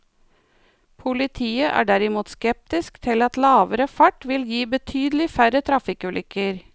Politiet er derimot skeptisk til at lavere fart vil gi betydelig færre trafikkulykker.